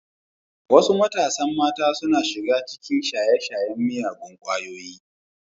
Wasu matasan mata suna shiga cikin shaye-shayen miyagun kwayoyi.